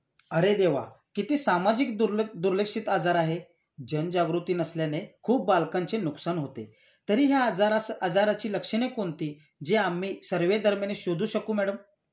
अरे देवा. किती सामाजिक दुर्लक्षित आजार आहे. जनजागृती नसल्याने खूप बालकांचे नुकसान होते. तरी ह्या आजाराची लक्षणे कोणती जे आम्ही सर्वे दरम्यान शोधू शकू मॅडम?